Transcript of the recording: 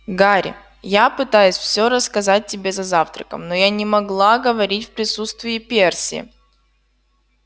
гарри я пытаюсь всё рассказать тебе за завтраком но я не могла говорить в присутствии перси